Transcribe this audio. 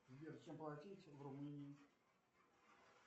сбер чем платить в румынии